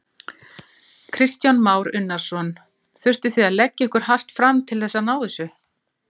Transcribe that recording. Kristján Már Unnarsson: Þurftuð þið að leggja ykkur hart fram til þess að ná þessu?